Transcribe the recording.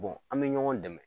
an bɛ ɲɔgɔn dɛmɛ